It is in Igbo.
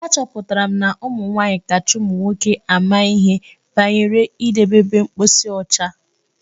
Achọpụtara m na ụmụ nwaanyị kacha ụmụ nwoke ama ihe banyere idebe ebe mposi ọcha.